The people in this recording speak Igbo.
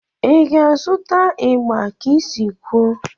Ị ga-azụta igba ka isi kwuo?